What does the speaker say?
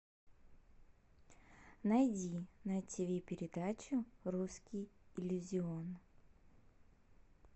найди на тиви передачу русский иллюзион